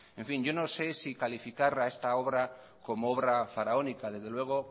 en fin yo no sé si calificar a esta obra como obra faraónica desde luego